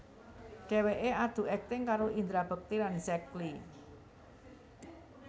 Dheweké adu akting karo Indra Bekti lan Zack Lee